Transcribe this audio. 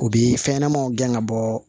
U bi fɛn ɲɛnɛmanw gɛn ka bɔ